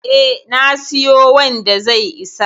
E, na siyo wanda zai isa.